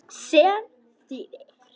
Sem þýðir